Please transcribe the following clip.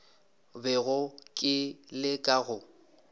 bego ke le ka go